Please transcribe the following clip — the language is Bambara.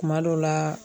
Kuma dɔw la